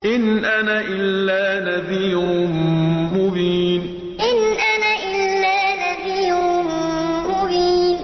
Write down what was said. إِنْ أَنَا إِلَّا نَذِيرٌ مُّبِينٌ إِنْ أَنَا إِلَّا نَذِيرٌ مُّبِينٌ